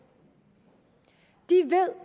de